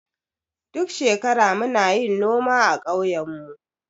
Duk shekara muna yin noma a ƙauyen mu.